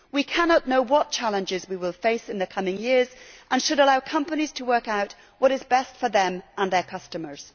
We cannot know what challenges we will face in the coming years and should allow companies to work out what is best for them and their customers.